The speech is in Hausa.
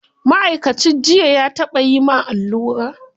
Ma'aikacin jiyya ya taɓa yi ma allura?